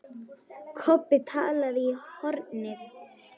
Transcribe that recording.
Kobbi talaði í hornið.